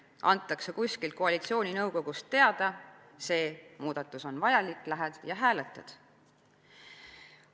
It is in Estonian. Antakse kuskilt "koalitsiooninõukogust" teada: "see muudatus on vajalik" – lähed ja hääletad.